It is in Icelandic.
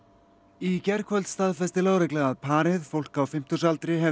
í gærkvöld staðfesti lögregla að parið fólk á fimmtugsaldri hefði